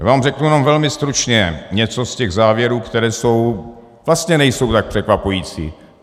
Já vám řeknu jen velmi stručně něco z těch závěrů, které jsou - vlastně nejsou tak překvapující.